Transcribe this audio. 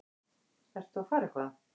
Ert þú að fara eitthvað?